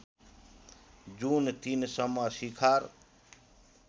जुन ३ सम्म शिखर